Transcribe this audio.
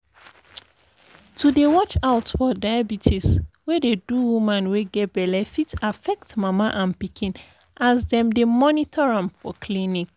to dey watch out for diabetes wey dey do woman wey get belle fit affect mama and pikin as dem dey monitor am for clinics